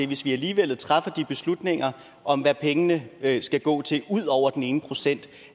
hvis vi alligevel træffer de beslutninger om hvad pengene skal gå til ud over den ene procent